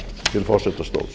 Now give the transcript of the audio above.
til forsetastóls